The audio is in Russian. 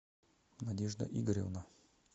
надежда игоревна